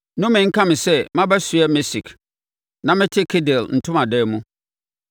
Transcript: Nnome nka me sɛ mabɛsoɛ Mesek, na mete Kedar ntomadan mu!